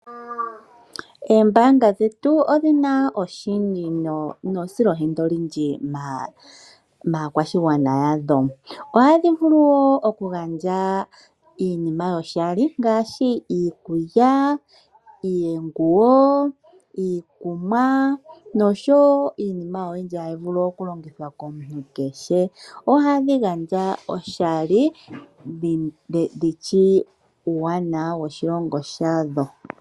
Oombaanga dhetu odhina esilohenda olindji maakwashigwana yadho ohadhi vulu wo okugandja iinima yoshali ngaashi iikulya, iikunwa, omizalo nakehe shoka tashi vulu okugandjwa oshali komuntu. Ohadhi gandja oshali dhitseye uuwanawa woshilongo shadho.